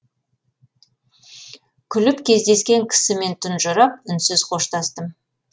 күліп кездескен кісімен тұнжырап үнсіз қоштастым